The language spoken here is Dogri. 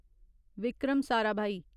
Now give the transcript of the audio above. विक्रम साराभाई